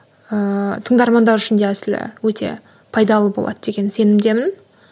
ыыы тыңдармандар үшін де әсілі өте пайдалы болады деген сенімдемін